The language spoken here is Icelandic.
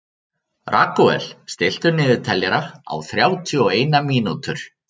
Ragúel, stilltu niðurteljara á þrjátíu og eina mínútur.